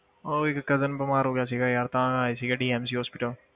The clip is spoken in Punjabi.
ਉਹ ਇੱਕ cousin ਬਿਮਾਰ ਹੋ ਗਿਆ ਸੀਗਾ ਯਾਰ, ਤਾਂ ਆਏ ਸੀਗੇ DMC hospital